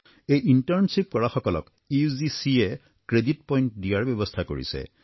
এই ইণ্টাৰ্ণশ্বিপ কৰা সকলক ইউজিচিয়ে ক্ৰেডিট পইণ্ট দিয়াৰ ব্যৱস্থা কৰিছে